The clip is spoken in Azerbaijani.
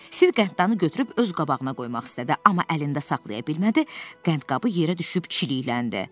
Sid qənddanı götürüb öz qabağına qoymaq istədi, amma əlində saxlaya bilmədi, qəndqabı yerə düşüb çilikləndi.